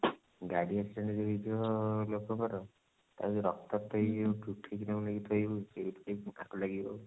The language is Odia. ଗାଡି accident ହେଇଥିବ ଲୋକଙ୍କ ର ତାପରେ ଯଉ ରକ୍ତାକ୍ତ ହେଇକି ଯଉ ଉଠେଇକି ନେଇକି ତାଙ୍କୁ ଥୋଇବୁ ସେଉଠୁ ଲାଗିବ ଆଉ